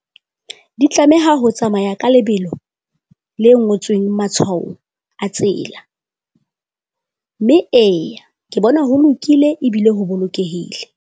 Di tlameha ho tsamaya ka lebelo le ngotsweng atshwao a tsela, mme eya ke bona ho lokile ebile ho bolokehile.